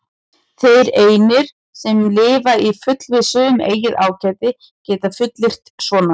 Þeir einir, sem lifa í fullvissu um eigið ágæti, geta fullyrt svona.